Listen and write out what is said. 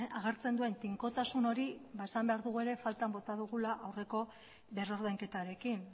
agertzen duen tinkotasun hori ba esan behar dugu ere faltan bota dugula aurreko berrordainketarekin